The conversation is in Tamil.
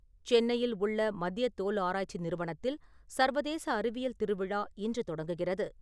சென்னையில் உள்ள மத்திய தோல் ஆராய்ச்சி நிறுவனத்தில் சர்வதேச அறிவியல் திருவிழா இன்று தொடங்குகிறது.